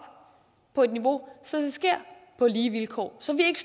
på et niveau så det sker på lige vilkår så vi ikke